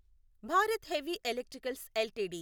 Bharat Heavy Electricals LTD